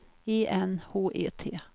E N H E T